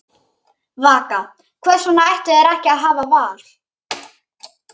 Vaka: Hvers vegna ættu þeir ekki að hafa val?